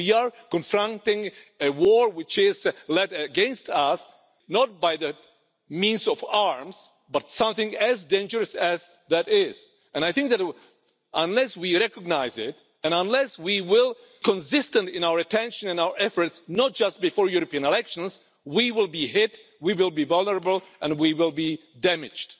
We are confronting a war which is led against us not by means of arms, but something as dangerous as that and I think that unless we recognise it and unless we are consistent in our attention and our efforts and not just before European elections we will be hit, we will be vulnerable and we will be damaged.